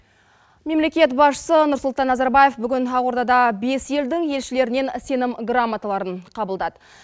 мемлекет басшысы нұрсұлтан назарбаев бүгін ақордада бес елдің елшілерінен сенім грамоталарын қабылдады